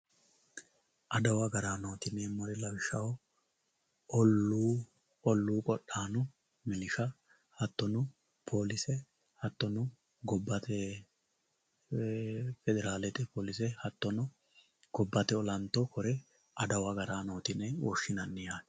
Adawu agarano yinemori lawishaho ollu qodhano minshu hatono polise hatono gobbate federalette ee polise hatono gobbate olanto korre adawu agaranoti yine woshinanni yatte